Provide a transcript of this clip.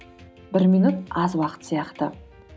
бір минут аз уақыт сияқты